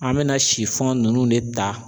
An bɛ na ninnu de ta